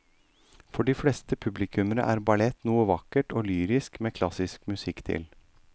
For de fleste publikummere er ballett noe vakkert og lyrisk med klassisk musikk til.